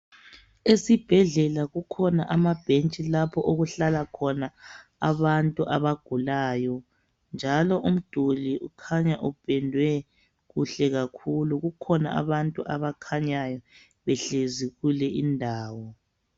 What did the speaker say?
Esibhedlela kukhona amabhentshi lapho okuhlala khona abantu abagulayo njalo umduli ukhanya upendwe kuhle kakhulu. Kukhona abantu abakhanyayo behlezi kule indawo.